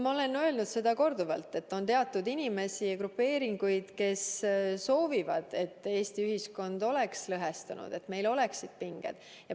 Ma olen korduvalt öelnud, et on teatud inimesi ja grupeeringuid, kes soovivad, et Eesti ühiskond oleks lõhestunud, et meil oleksid pinged.